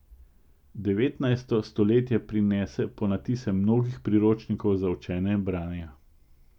Devetnajsto stoletje prinese ponatise mnogih priročnikov za učenje branja.